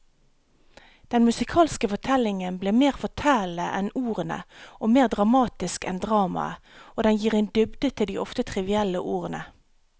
Den musikalske fortellingen blir mer fortellende enn ordene og mer dramatisk enn dramaet, og den gir en dybde til de ofte trivielle ordene.